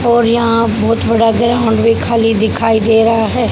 और यहां बहोत बड़ा ग्राउंड भी खाली दिखाई दे रहा है।